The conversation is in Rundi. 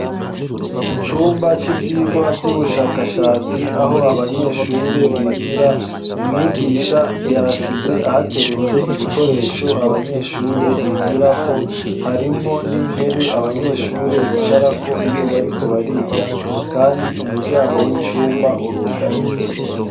Mu cumba c'ivyirwa vy'ubushakashatsi aho abanyeshure bigira umwigisha yasize ahateretse ibikoresho abanyeshure bigirako harimwo n'intebe abanyeshure bicarako iyo bariko bariga, kandi umuryango w'icumba urugaye.